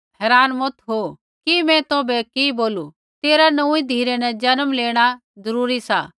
हैरान मत हो कि मैं तौभै बोलू तेरा नौंऊँईं धिरै न जन्म लेणा जरूरी सा